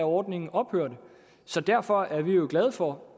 ordningen ophørte så derfor er vi jo glade for